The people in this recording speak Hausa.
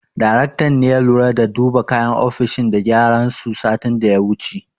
Daraktan ne ya lura da duba kayan ofishin da gyaran su satin da ya wuce.